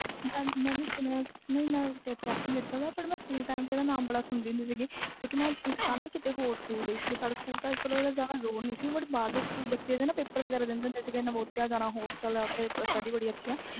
ਮੈਂ ਦੇਖਿਆ ਸੀ ਮੈਂ ਸੁਣਿਆ ਸੀ ਸਕੂਲ time ਇਸ ਦਾ ਨਾਮ ਬਹੁਤ ਸੁਣਦੀ ਸੀ ਮੈਂ ਕਿਸੇ ਹੋਰ ਸਕੂਲ ਪੜ੍ਹਦੀ ਸੀ ਮੈਂ ਸਾਡੇ ਸਕੂਲ ਜਿਆਦਾ ਰੋਲ ਨਹੀਂ ਸੀ but ਬਹਾਰ ਦੇ ਸਕੂਲ ਦੇ ਬੱਚੇ ਪੇਪਰ ਦਿੰਦੇ ਹੁੰਦੇ ਸੀ ਕਹਿੰਦੇ ਹੁੰਦੇ ਓਥੇ ਜਾਣਾ ਨਾਮੋਦੀਆਂ ਹੋਸਟਲ